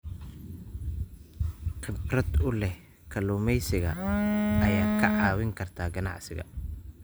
Khibrad u leh kalluumeysiga ayaa kaa caawin karta ganacsiga.